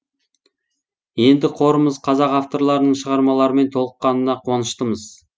енді қорымыз қазақ авторларының шығармаларымен толыққанына қуаныштымыз